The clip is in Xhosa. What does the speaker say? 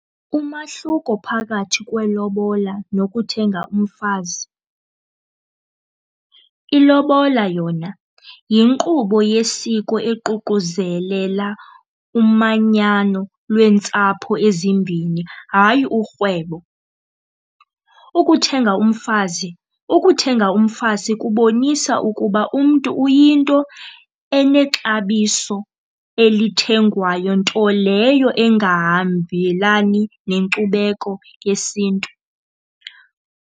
Umahluko phakathi kwelobola nokuthenga umfazi. Ilobola yona yinkqubo yesiko ekuququzelela umanyano leentsapho ezimbini hayi urhwebo. Ukuthenga umfazi, ukuthenga umfazi kubonisa ukuba umntu uyinto enexabiso elithengwayo, nto leyo egahambelani nenkcubeko yesiNtu.